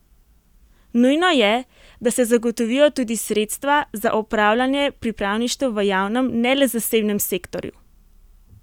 Nujno je, da se zagotovijo tudi sredstva za opravljanje pripravništev v javnem, ne le zasebnem sektorju!